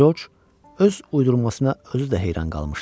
Corc öz uydurmasına özü də heyran qalmışdı.